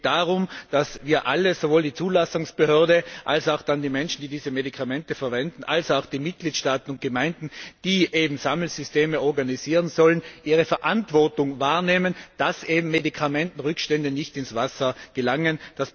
Es geht darum, dass wir alle sowohl die Zulassungsbehörde als auch die Menschen, die diese Medikamente verwenden, als auch die Mitgliedstaaten und Gemeinden, die Sammelsysteme organisieren sollen unsere Verantwortung wahrnehmen, damit Medikamentenrückstände nicht in das Wasser gelangen.